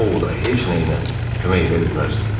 O O Voda heç nə ilə kömək edə bilməzdi.